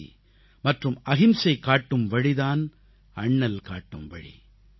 அமைதி மற்றும் அகிம்சை காட்டும் வழி தான் அண்ணல் காட்டும் வழி